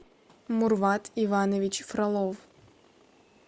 мурват иванович фролов